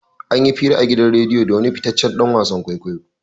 An yi hira a gidan radiya da wani fitaccen dan wasan kwaikwayo.